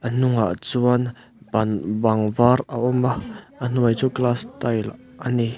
a hnungah chuan ban bang var a awm a a hnuai chu glass tile a ni.